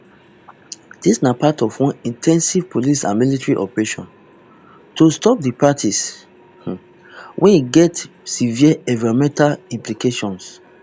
dis na part of one in ten sive police and military operation to stop di practice um wey get severe environmental implications